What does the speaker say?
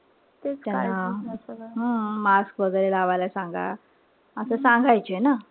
हं. mask वगैरे लावायला सांगा. असं सांगायचे ना.